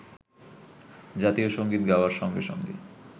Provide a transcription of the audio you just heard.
জাতীয় সংগীত গাওয়ার সঙ্গে সঙ্গে